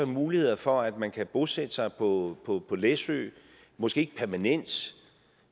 muligheder for at man kan bosætte sig på på læsø måske ikke permanent